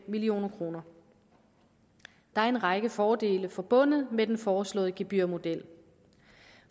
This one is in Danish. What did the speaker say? million kroner der er en række fordele forbundet med den foreslåede gebyrmodel